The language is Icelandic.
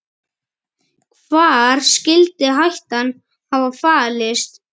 Hvar skyldi hættan hafa falist?